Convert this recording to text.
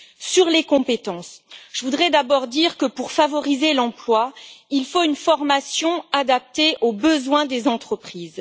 Sur les compétences, je voudrais d'abord dire que, pour favoriser l'emploi, il faut une formation adaptée aux besoins des entreprises.